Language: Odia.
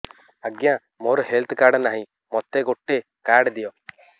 ଆଜ୍ଞା ମୋର ହେଲ୍ଥ କାର୍ଡ ନାହିଁ ମୋତେ ଗୋଟେ କାର୍ଡ ଦିଅ